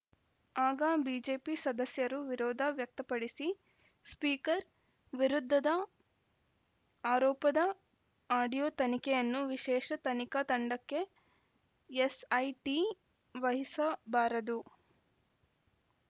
ಆಗ ಬಿಜೆಪಿ ಸದಸ್ಯರು ವಿರೋಧ ವ್ಯಕ್ತಪಡಿಸಿ ಸ್ಪೀಕರ್‌ ವಿರುದ್ಧದ ಆರೋಪದ ಆಡಿಯೋ ತನಿಖೆಯನ್ನು ವಿಶೇಷ ತನಿಖಾ ತಂಡಕ್ಕೆ ಎಸ್‌ಐಟಿ ವಹಿಸಬಾರದು